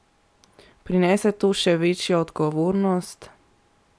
Prinese to še večjo odgovornost?